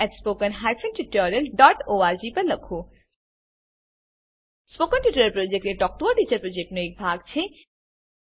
spoken tutorial project talk to a teacher પ્રોજેક્ટનો એક ભાગ છે